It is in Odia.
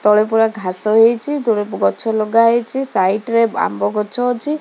ତଳେ ପୁରା ଘାସ ହେଇଚି ତୁଳେ ଗଛ ଲଗା ହେଇଚି ସାଇଟ୍ ରେ ଆମ୍ବ ଗଛ ଅଛି।